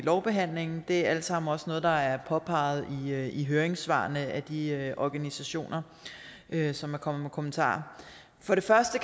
lovbehandlingen det er alt sammen også noget der er påpeget i høringssvarene af de organisationer som er kommet med kommentarer for det første